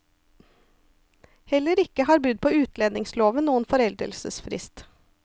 Heller ikke har brudd på utlendingsloven noen foreldelsesfrist.